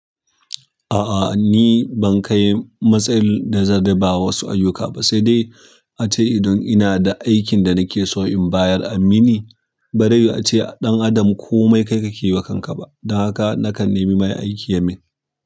A'a, ni ban kai matsayin da zan raba wa wasu ayyuka ba sai dai ace idan ina da aikin da nake so in bayar a mini. Bare ace ɗan adam komai kai kakeyi wa kanka ba. Dan haka nakan nemi mai aiki ya min.